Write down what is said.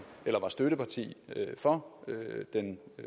eller var støtteparti for den